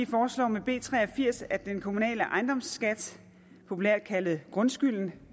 foreslår med b tre og firs at den kommunale ejendomsskat populært kaldet grundskylden